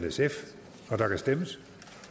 og der kan stemmes